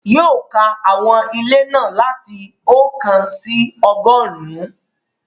Yóò ka àwọn ilé náà láti ọ̀kan sí ọgọ́rùn-ún